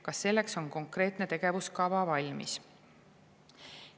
Kas selleks on konkreetne tegevuskava valmis?